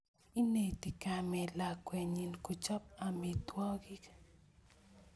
Ineti kamet lakwenyi kochop amitwogik